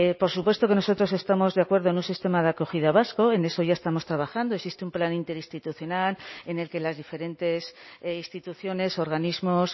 por supuesto que nosotros estamos de acuerdo en un sistema de acogida vasco en eso ya estamos trabajando existe un plan interinstitucional en el que las diferentes instituciones organismos